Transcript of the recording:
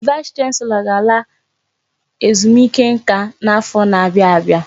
Vaịs chanselọ ga-ala ezumike nká n'afọ n'abia abịa